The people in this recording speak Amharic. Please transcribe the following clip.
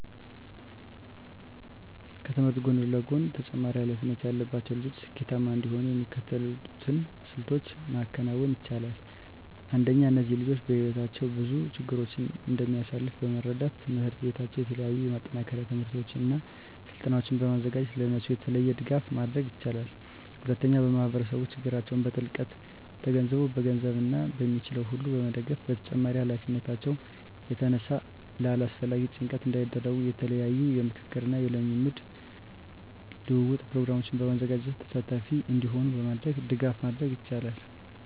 ከትምህርት ጎን ለጎን ተጨማሪ ሀላፊነት ያለባቸው ልጆች ስኬታማ እንዲሆኑ የሚከተሉትን ስልቶች ማከናወን ይቻላል። አንደኛ እነዚህ ልጆች በህይወታቸው ብዙ ችግሮችን እንደሚያሳልፍ በመረዳት ትምሕርት ቤታቸው የተለያዩ የማጠናከሪያ ትምህርቶችን እና ስልጠናዎችን በማዘጋጀት ለእነሱ የተለየ ድጋፍ ማድረግ ይችላል። ሁለተኛ ማህበረሰቡ ችግራቸውን በጥልቀት ተገንዝቦ በገንዘብ እና በሚችለው ሁሉ መደገፍ በተጨማሪም ከሀላፊነታቸው የተነሳ ለአላስፈላጊ ጭንቀት እንዳይዳረጉ የተለያዩ የምክክር እና የልምድ ልውውጥ ፕሮግራሞችን በማዘጋጀት ተሳታፊ እንዲሆኑ በማድረግ ድጋፍ ማድረግ ይቻላል።